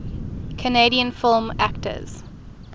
canadian film actors